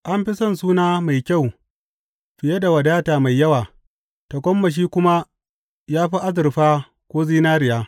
An fi son suna mai kyau fiye da wadata mai yawa; tagomashi kuma ya fi azurfa ko zinariya.